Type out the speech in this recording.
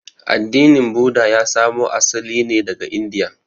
Addinin Buda ya samo asali ne daga Indiya.